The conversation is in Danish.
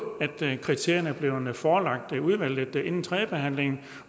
kriterierne er blevet forelagt udvalget inden tredjebehandlingen